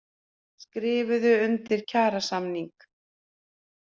Skrifuðu undir kjarasamning